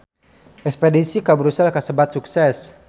Espedisi ka Brussels kasebat sukses